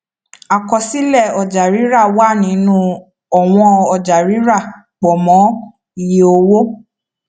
àkọsílẹ ọjàrírà wà nínú ọwọn ọjàrírà pọ mọ iye owó